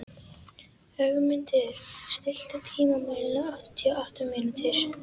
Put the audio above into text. Ögmunda, stilltu tímamælinn á áttatíu og átta mínútur.